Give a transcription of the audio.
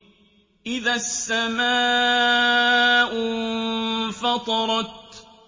إِذَا السَّمَاءُ انفَطَرَتْ